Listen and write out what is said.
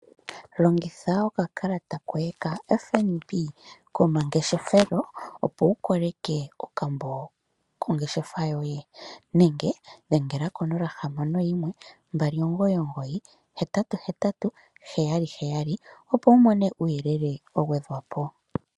Longitha oka kalata koye ka FNB komangeshelo opo wu ko leke okambo kongeshefa yoye nenge dhengela ko 0612998877 kuuyelele wa gwe dhwapo.